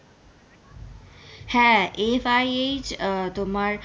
হ্যাঁ FIH আহ তোমার,